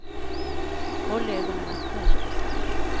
Håll ögonen öppna ute på stan.